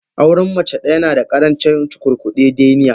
Auren mace daya nada karancin cukurkude deniya.